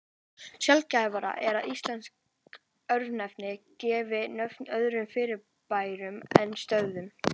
Sjaldgæfara er að íslensk örnefni gefi nafn öðrum fyrirbærum en stöðum.